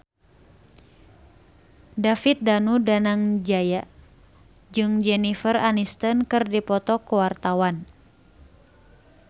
David Danu Danangjaya jeung Jennifer Aniston keur dipoto ku wartawan